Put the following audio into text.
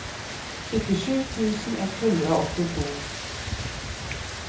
syttisju tusen ett hundre og åttito